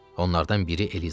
Onlardan biri Eliza idi.